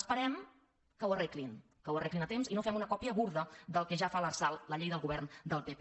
esperem que ho arreglin que ho arreglin a temps i no fem una còpia grollera del que ja fa l’ar·sal la llei del govern del pp